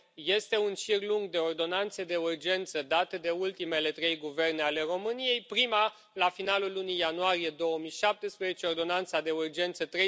Este un șir lung de ordonanțe de urgență date de ultimele trei guverne ale României, prima la finalul lunii ianuarie 2017, Ordonanța de Urgență nr.